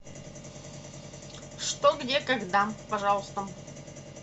что где когда пожалуйста